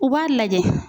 U b'a lajɛ